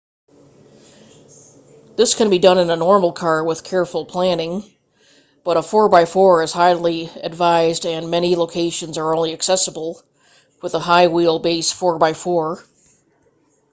this can be done in a normal car with careful planning but a 4x4 is highly advised and many locations are only accessible with a high wheel base 4x4